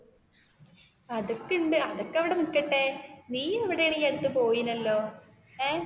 അതൊക്കെ ഉണ്ട് അതൊക്കെ അവിടെ നിക്കട്ടെ നീ എവിടെന്നു ഈ അടുത്ത് പൊയിനല്ലൊ